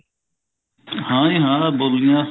ਹਾਂਜੀ ਹਾਂ ਬੋਲੀਆਂ